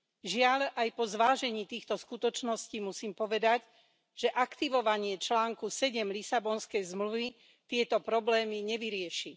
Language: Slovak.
Žiaľ, aj po zvážení týchto skutočností musím povedať, že aktivovanie článku 7 Lisabonskej zmluvy tieto problémy nevyrieši.